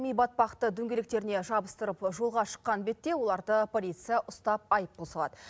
ми батпақты дөңгелектеріне жабыстырып жолға шыққан бетте оларды полиция ұстап айыппұл салады